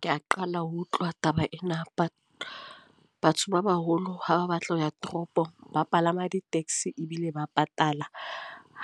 Ke a qala ho utlwa taba ena. Batho ba baholo ha ba batla ho ya toropong ba palama di-taxi ebile ba patala.